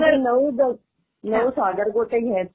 नऊ, नऊ सागरगोटे घ्यायचे,